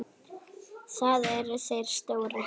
Það eru þeir stóru.